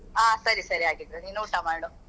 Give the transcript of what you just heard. ಹ ಸರಿ ಸರಿ ಹಾಗಿದ್ರೆ ನೀನ್ ಊಟ ಮಾಡು.